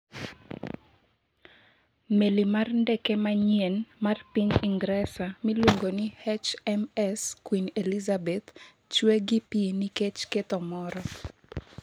meli mar ndeke manyien mar piny Ingresa miluongo ni HMS Queen Elizabeth chwe gi pi nikech ketho moro